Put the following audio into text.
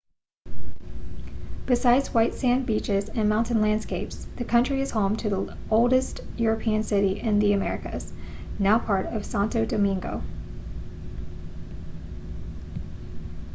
besides white sand beaches and mountain landscapes the country is home to the oldest european city in the americas now part of santo domingo